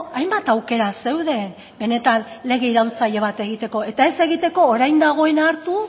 hainbat aukera zeuden benetan lege iraultzaile bat egiteko eta ez egiteko orain dagoena hartu